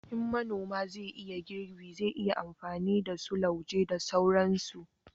in manoma zai yi girbi, zai yi amfani da su lauje da sauransu